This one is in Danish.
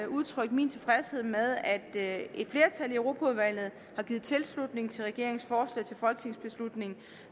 udtrykke min tilfredshed med at et flertal i europaudvalget har givet tilslutning til regeringens forslag til folketingsbeslutning